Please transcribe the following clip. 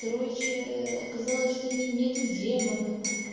короче оказалось что у нее нету демона